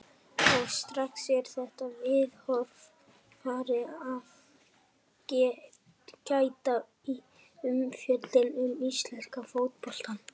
Og strax er þessa viðhorfs farið að gæta í umfjöllun um íslenska fótboltann.